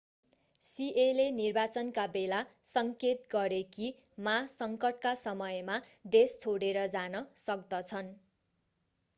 सिएले निर्वाचनका बेला सङ्केत गरे कि मा सङ्कटका समयमा देश छोडेर जान सक्दछन्